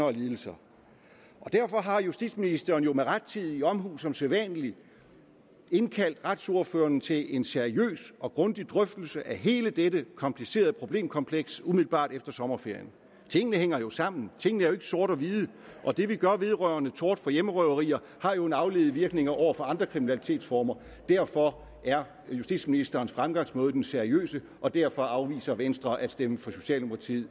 og lidelser derfor har justitsministeren jo med rettidig omhu som sædvanlig indkaldt retsordførerne til en seriøs og grundig drøftelse af hele dette komplicerede problemkompleks umiddelbart efter sommerferien tingene hænger jo sammen tingene er ikke sortehvide og det vi gør vedrørende tort for hjemmerøverier har en afledt virkning over for andre kriminalitetsformer derfor er justitsministerens fremgangsmåde den seriøse og derfor afviser venstre at stemme for socialdemokratiet og